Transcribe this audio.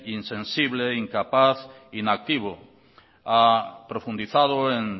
insensible incapaz inactivo ha profundizado en